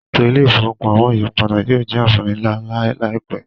Eto ile-ifowopamọ iyipada yoo jẹ anfani nla laipẹ.